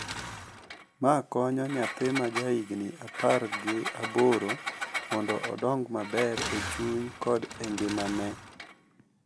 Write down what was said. Ma konyo nyathi ma jahigni apar gi aboro mondo odong’ maber e chuny kod e ngimane.